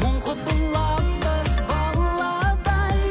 мың құбыламыз баладай